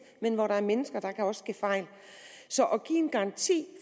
men hvor der er mennesker kan der også ske fejl så at give en garanti